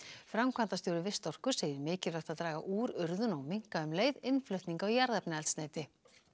framkvæmdastjóri Vistorku segir mikilvægt að draga úr urðun og minnka um leið innflutning á jarðefnaeldsneyti